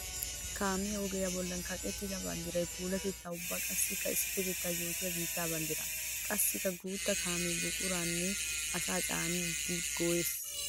Kaamiya ogiya bollan kaqettidda banddiray puulatetta ubba qassikka asaa issipetetta yootiya biitta banddira. Qassikka guuta kaame buquranne asaa caaniddi go'ees.